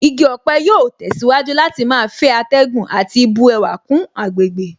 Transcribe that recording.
Igi ọ̀pẹ yóò tẹ̀síwájú láti máa fẹ́ atẹ́gùn àti bu ẹwà kún àgbègbè